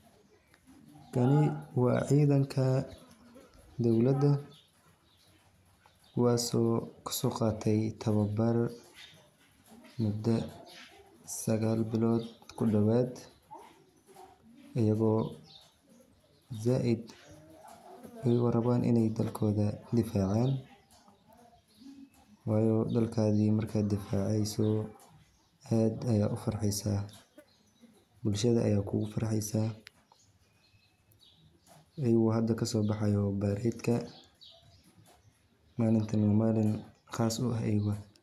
Taani waa cidanka dowlada kuwaasi oo kuso qaate tababar muda sagal bilod kudhowad ayago zaaid ayago rawan inay dhalkoda difaacan wayo wadankadi marka difaaceydo aad ayad u farxeysa, bulshada aya kugu farxeysa, ayago hada kaso baxayo baradeka, malinta waa malin qaas u eh ayuga